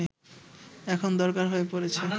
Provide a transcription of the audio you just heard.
এখন দরকার হয়ে পড়েছে